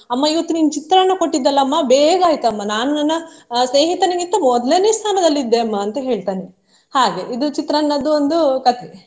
ಅಮ್ಮ ಇವತ್ತು ನೀನು ಚಿತ್ರಾನ್ನ ಕೊಟ್ಟಿದೆಲ್ಲಾಮ್ಮ ಬೇಗ ಆಯಿತಮ್ಮ ನಾನು ನನ್ನ ಸ್ನೇಹಿತನಿಗಿಂತ ಮೊದಲನೇ ಸ್ಥಾನದಲ್ಲಿದ್ದೆ ಅಮ್ಮ ಅಂತ ಹೇಳ್ತಾನೆ ಹಾಗೆ ಇದು ಚಿತ್ರಾನ್ನದ್ದು ಒಂದು ಕಥೆ.